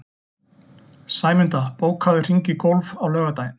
Sæmunda, bókaðu hring í golf á laugardaginn.